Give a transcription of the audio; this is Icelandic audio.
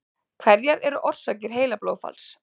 Hverjar eru orsakir heilablóðfalls?